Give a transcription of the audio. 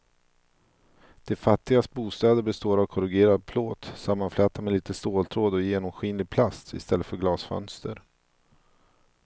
De fattigas bostäder består av korrugerad plåt sammanflätad med lite ståltråd och genomskinlig plast i stället för glasfönster.